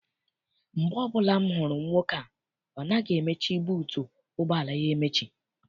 Mgbe ọbụla m hụrụ nwoke a, ọ naghị emechi buutu ụgbọala ya emechi.